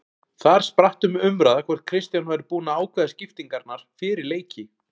Þar spratt um umræða hvort Kristján væri búinn að ákveða skiptingarnar fyrir leiki.